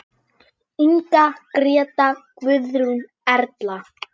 Inga, Gréta, Guðrún, Erla.